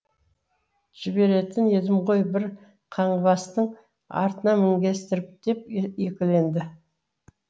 жіберетін едім ғой бір қаңғыбастың артына мінгестіріп деп екіленеді